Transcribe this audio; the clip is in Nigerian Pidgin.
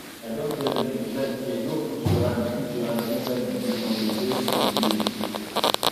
i don tell you if you like hear no put your hand put your hand inside juju unto say e dey kill